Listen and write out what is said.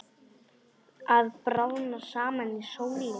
Að bráðna saman í sólinni